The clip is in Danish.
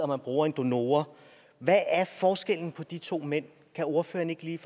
man bruger en donor hvad er forskellen på de to mænd kan ordføreren ikke lige